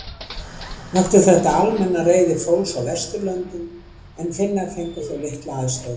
Vakti þetta almenna reiði fólks á Vesturlöndum en Finnar fengu þó litla aðstoð.